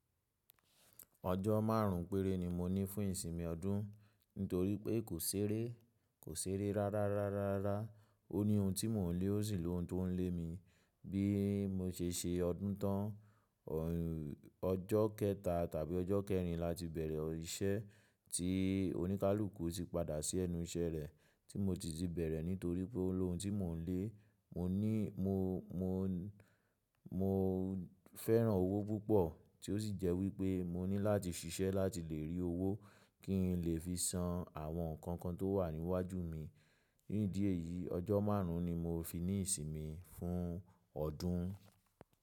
Ọjọ́ márùn ún péré ni mo ní fún ìsinmi ọdún, n torí pé kò ṣeré, kò ṣeré rárá, rárá, rá. Ó ní ohun tí mò ń lé, ó sì lóhùn tó ń lé mi. Bí mo ṣe ṣe ọdún tán, ọ̀y Ọjọ́ kẹta tàbí ọjọ́ kẹrin láti bẹ̀rẹ̀ o iṣẹ́ tí oníkálukú ti padà sí ẹnu iṣẹ́ rẹ̀, tí mo ti ti bẹ̀rẹ̀ nítorí pé ó lóhùn tí mò ń lé. Mo ní mo, mo, mo fẹ́ràn owó púpọ̀ tí ó sì jẹ́ wípé mo ní láti ṣiṣẹ́ láti lè rí owó kí n lè fi san àwọn nǹkan kan tó wà níwájú mi. Nídìí èyí ọjọ́ márùn ún ni mo fi ní ìsinmi fún ọdún.